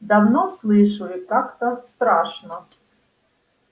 давно слышу и как-то страшно